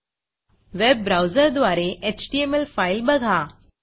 webवेब ब्राऊजरद्वारे HTML file बघा